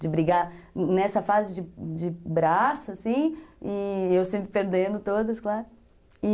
De brigar nessa fase de de braço, assim, e eu sempre perdendo todas, claro.